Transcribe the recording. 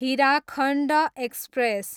Hirakhand express